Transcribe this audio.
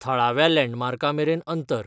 थळाव्या लँडमार्कांमेरेन अंतर